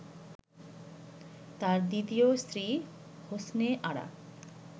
তার দ্বিতীয় স্ত্রী হোসনে আরা